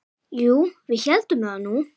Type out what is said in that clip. Jú, við héldum það nú.